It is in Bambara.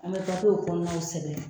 An bɛ gafew kɔnɔnaw sɛbɛn